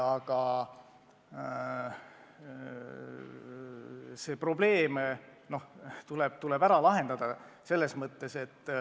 Aga see probleem tuleb ära lahendada.